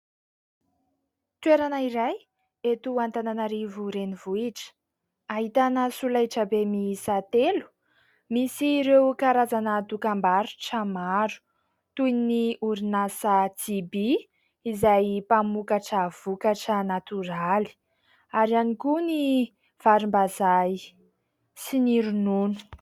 Toerana iray eto Antananarivo renivohitra, ahitana solaitra be miisa telo, misy ireo karazana dokam-barotra maro toy ny orinasa ''JB'' izay mpamokatra vokatra natoraly ary ihany koa ny varimbazaha sy ny ronono.